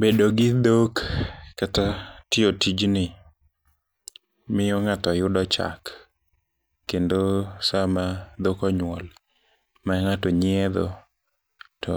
Bedo gi dhok kata tiyo tijni miyo ng'ato yudo chak kendo sama dhok onyuol mang'ato nyietho to